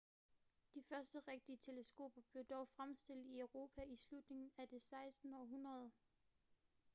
de første rigtige teleskoper blev dog fremstillet i europa i slutningen af det 16. århundrede